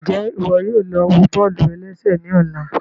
Njẹ iwọ yóò lọ wọ bọ́ọ̀lù-ẹlẹ́sẹ̀ ní ọ̀la?